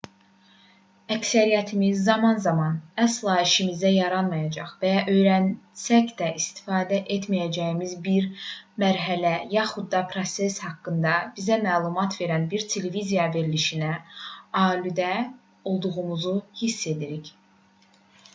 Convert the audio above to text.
əksəriyyətimiz zaman-zaman əsla işimizə yaramayacaq və ya öyrənsək də istifadə etməyəcəyimiz bir mərhələ yaxud da proses haqqında bizə məlumat verən bir televiziya verilişinə aludə olduğumuzu hiss edirik